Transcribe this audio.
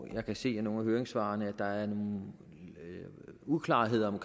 jeg kan se af nogle af høringssvarene at der er uklarhed om